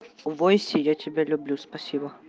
не бойся я тебя люблю спасибо